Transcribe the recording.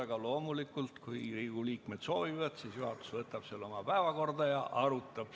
Aga loomulikult, kui Riigikogu liikmed soovivad, siis juhatus võtab selle päevakorda ja arutab.